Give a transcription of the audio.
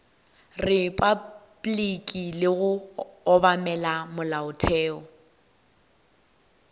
repabliki le go obamela molaotheo